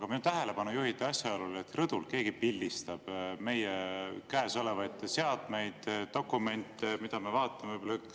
Aga minu tähelepanu juhiti asjaolule, et rõdul keegi pildistab meie käes olevaid seadmeid ja dokumente, mida me vaatame.